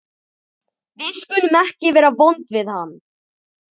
Við skulum ekki vera vond við hann.